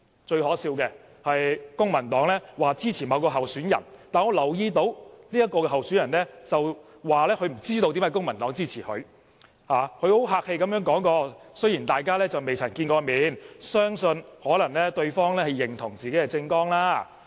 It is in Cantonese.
最可笑的是，公民黨說支持某位候選人，但我留意到這位候選人說不知道為何公民黨會支持自己，只客氣的說雖然大家未曾見面，相信對方可能是認同自己的政綱。